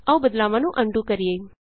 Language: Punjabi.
ਆਉ ਬਦਲਾਵਾਂ ਨੂੰ ਅਨਡੂ ਕਰੀਏ